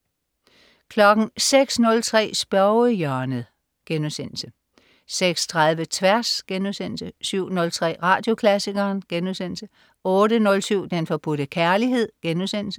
06.03 Spørgehjørnet* 06.30 Tværs* 07.03 Radioklassikeren* 08.07 Den Forbudte Kærlighed*